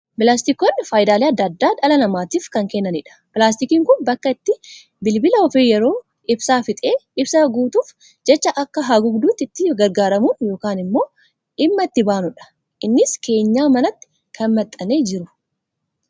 Pilaastikoonni fayidaalee addaa addaa dhala namatiif kan kennanidha. Pilaastikni Kun bakka itti bilbila ofii yeroo ibsaa fixe, ibsaa guutuuf jecha akka haguugduutti itti gargaaramnu yookaan immoo dhimma itti baanudha. Innis keenyaa manatti kan maxxanee jiru.